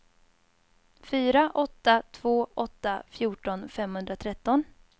fyra åtta två åtta fjorton femhundratretton